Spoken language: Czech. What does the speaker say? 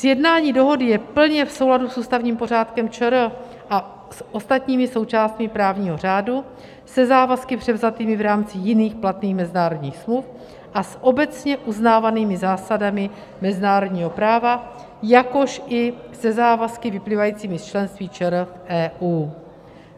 Sjednání dohody je plně v souladu s ústavním pořádkem ČR a s ostatními součástmi právního řádu, se závazky převzatými v rámci jiných platných mezinárodních smluv a s obecně uznávanými zásadami mezinárodního práva, jakož i se závazky vyplývajícími z členství ČR v EU.